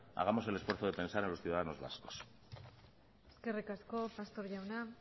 hagamos el esfuerzo de pensar en los ciudadanos vascos eskerrik asko pastor jauna